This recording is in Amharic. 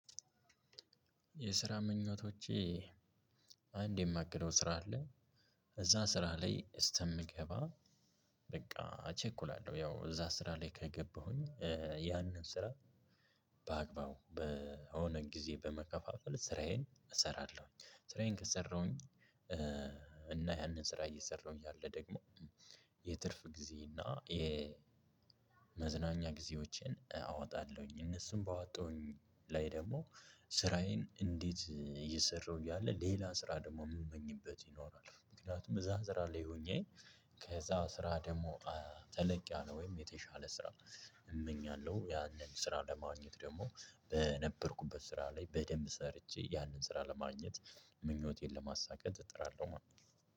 የስራ ምኞቶቼ አንድ የማገኘው ስራ አለ። እዛ ስራ ላይ እስከምገባ በቃ እቸኩላለሁ። ያው እዛ ስራ ላይ ከገባሁኝ ያንን ስራ በአግባቡ በሆነ ጊዜ በመከፋፈል ስራዬን እሰራለሁኝ ስራዬን ከሰራሁኝ እና ያንን ስራ እየሰራሁ እያለ ደግሞ የትርፍ ጊዜ እና የ የመዝናኛ ጊዜዎችን አወጣለሁኝ። እነሱም ባወጣሁኝ ላይ ደግሞ ስራዬን እንዴት እየሰራሁ እያለ ሌላ ስራ ደግሞ የምመኝበት ይኖራል ምክንያቱም እዛ ስራ ላይ ሆኜ ከዛ ስራ ደግሞ ተለቅ ያለ ነ ወይም ደግሞ የተሻለ ስራ እመኛለሁ ያንን ስራ ለማግኘት ደግሞ በነበርኩበት ስራ ላይ በደንብ ሰርቼ ያንን ስራ ለማግኘት ምኞቴን ለማሳካት እጥራለሁ።